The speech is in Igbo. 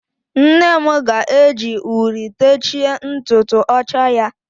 Nnem ga-eji uri techie ntutu ọcha ya.